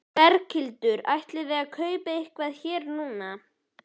Berghildur: Ætlið þið að kaupa eitthvað hér núna?